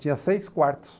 Tinha seis quartos.